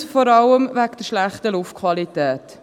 dies vor allem wegen der schlechten Luftqualität.